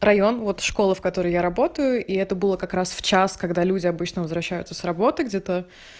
район вот школа в которой я работаю и это было как раз в час когда люди обычно возвращаются с работы где-то